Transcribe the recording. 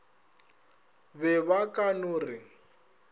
be ba ka no re